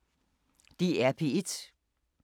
DR P1